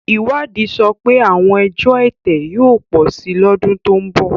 Ìwádìí sọ pé àwọn ẹjọ́ ẹ̀tẹ̀ yóò pọ̀ sí i lọ́dún tó ń bọ̀.